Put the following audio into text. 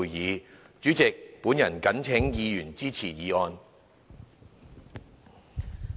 代理主席，本人謹請議員支持議案。